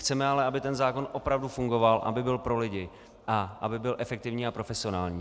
Chceme ale, aby ten zákon opravdu fungoval, aby byl pro lidi a aby byl efektivní a profesionální.